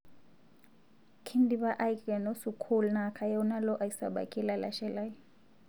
Kindipa aikeno sukul naa kayieu nalo aisabaki lalashe lai